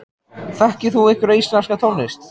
Þekkir þú einhverja íslenska tónlist?